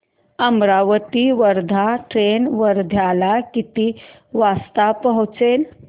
Amravati Wardha train वर्ध्याला किती वाजता पोहचेल